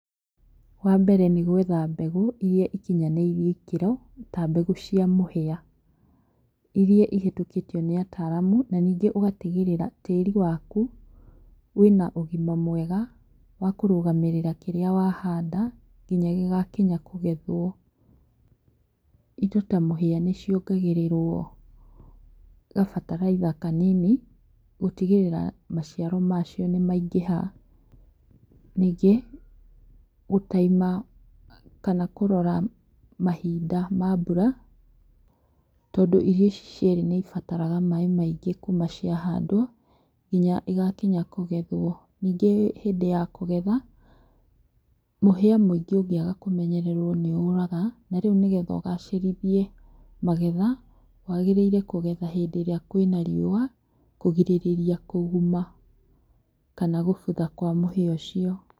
Wa mbere nĩgũetha mbegũ iria ikinyanĩirie ikĩro, ta mbegu cia mũhĩa, irĩa ihĩtũkĩtio nĩ ataramũ, na nĩngĩ ũgatigĩrĩra tĩri waku wĩna ũgima mwega wa kũrũgamĩrĩra kĩrĩa wahanda nginya gĩgakinya kũgethwo. ĩndo ta mũhia nĩciongagĩrĩrwo ga fertilizer kanini gũtĩgĩrĩra maciaro macio nĩ maingĩha, ningĩ gũtaima kana kũrora mahinda ma mbura, tondũ irio ici cierĩ nĩibataraga maĩ maingĩ kuma ciahandwo nginya igakinya kũgethwo, ningĩ hĩndĩ ya kũgetha, mũhia mũingĩ ũngĩaga kũmenyererũo nĩuraga na rĩu nĩgetha ũgacĩrithie magetha, wagĩrĩire kũgetha hĩndirĩa kwina riũa, kũgirĩrĩria kũguma kana gũbũtha kwa mũhĩa ũcio.